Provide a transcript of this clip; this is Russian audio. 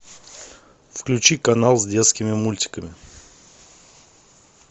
включи канал с детскими мультиками